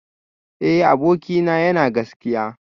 Eh abokina yana gaskiya